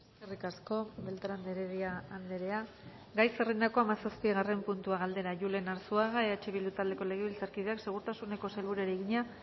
eskerrik asko beltrán de heredia andrea gai zerrendako hamazazpigarren puntua galdera julen arzuaga gumuzio eh bildu taldeko legebiltzarkideak segurtasuneko sailburuari egina